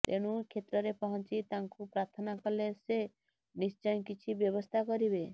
ତେଣୁ କ୍ଷେତ୍ରରେ ପହଞ୍ଚି ତାଙ୍କୁ ପ୍ରାର୍ଥନା କଲେ ସେ ନିଶ୍ଚୟ କିଛି ବ୍ୟବସ୍ଥା କରିବେ